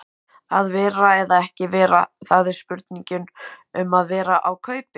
Að vera eða ekki vera, það er spurningin um að vera á kaupi.